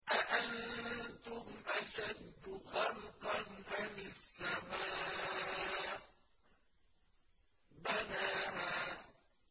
أَأَنتُمْ أَشَدُّ خَلْقًا أَمِ السَّمَاءُ ۚ بَنَاهَا